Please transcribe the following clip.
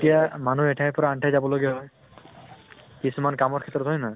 তেতিয়া মানুহ এঠাইৰ পৰা আন ঠাই যাব লগিয়া হয়, কিছুমান কামৰ ক্ষেত্ৰত হয় নে নহয়?